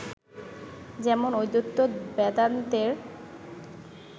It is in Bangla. যেমন, অদ্বৈত বেদান্তের